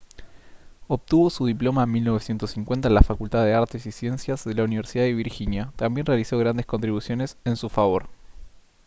obtuvo su diploma en 1950 en la facultad de artes y ciencias de la universidad de virginia también realizó grandes contribuciones en su favor